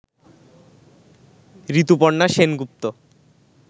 Rituparna Sengupta